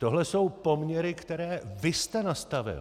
Tohle jsou poměry, které vy jste nastavil.